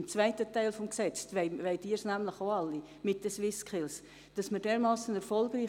Im zweiten Teil des Gesetzes, im Zusammenhang mit den SwissSkills, wollen Sie es alle auch.